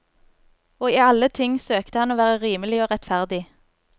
Og i alle ting søkte han å være rimelig og rettferdig.